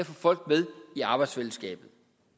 folk med i arbejdsfællesskabet